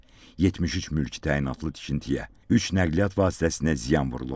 73 mülki təyinatlı tikintiyə, üç nəqliyyat vasitəsinə ziyan vurulub.